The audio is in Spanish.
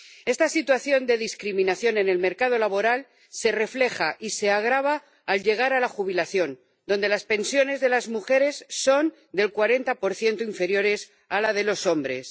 Esta situación de discriminación en el mercado laboral se refleja y se agrava al llegar a la jubilación, donde las pensiones de las mujeres son un 40 inferiores a las de los hombres.